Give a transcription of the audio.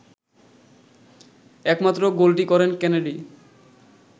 একমাত্র গোলটি করেন কেনেডি